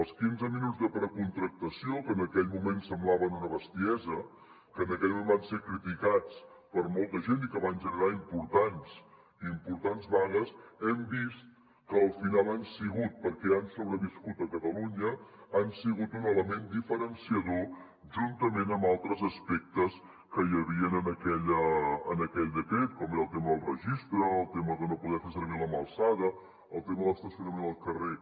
els quinze minuts de precontractació que en aquell moment semblaven una bestiesa que en aquell moment van ser criticats per molta gent i que van generar importants vagues hem vist que al final han sigut perquè han sobreviscut a catalunya un element diferenciador juntament amb altres aspectes que hi havia en aquell decret com era el tema del registre el tema de no poder fer servir la mà alçada el tema de l’estacionament al carrer